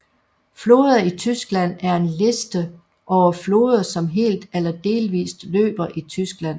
Floder i Tyskland er en liste over floder som helt eller delvist løber i Tyskland